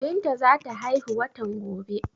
Binta za ta haihu watan gobe.